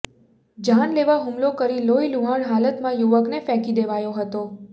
જાનલેવા હુમલો કરી લોહીલુહાણ હાલતમાં યુવકને ફેંકી દેવાયો હતો